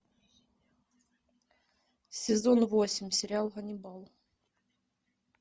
сезон восемь сериал ганнибал